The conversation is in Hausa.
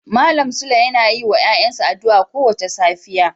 Malam sule yana yin wa ‘ya’yansa addu’a kowace safiya.